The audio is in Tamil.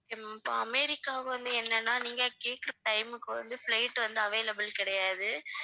ஹம் இப்ப அமெரிக்காவுக்கு வந்து என்னனா நீங்க கேக்குற time க்கு வந்து flight வந்து available கிடையாது